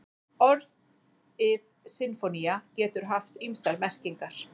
Orðið sinfónía getur haft ýmsar merkingar.